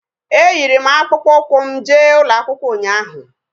Eyiri m akpụkpọ ụkwụ m jee ụlọakwụkwọ ụnyaahụ